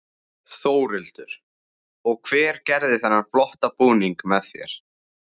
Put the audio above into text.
Þórhildur: Og hver gerði þennan flotta búning með þér?